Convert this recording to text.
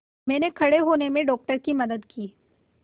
मैंने खड़े होने में डॉक्टर की मदद की